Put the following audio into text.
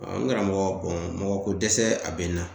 N karamɔgɔ mɔgɔkodɛsɛ a bɛ n na